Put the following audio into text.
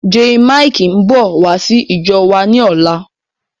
Jaymikee ń bọ̀ wá sí ìjọ wa ni ọ̀la.